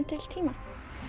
til tíma